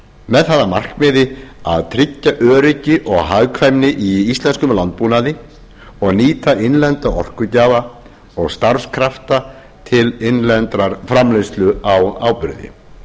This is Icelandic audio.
með það að markmiði að tryggja öryggi og hagkvæmni í íslenskum landbúnaði og nýta innlenda orkugjafa og starfskrafta til innlendrar framleiðslu á áburði